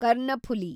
Karnaphuli